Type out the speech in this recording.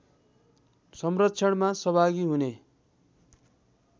संरक्षणमा सहभागी हुने